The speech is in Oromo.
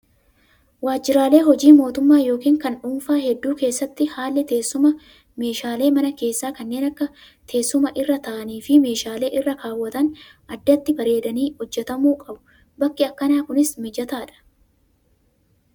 Waajjiraalee hojii mootummaa yookiin kan dhuunfaa hedduu keessatti haalli teessuma meeshaalee mana keessaa kanneen akka teessuma irra taa'anii fi meeshaalee irra kaawwatan addatti bareedanii hojjatamuu qabu. Bakki akkanaa Kunis mijataadha